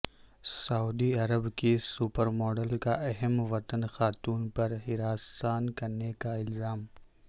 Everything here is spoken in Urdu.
سعودی عرب کی سپرماڈل کا ہم وطن خاتون پر ہراساں کرنے کا الزام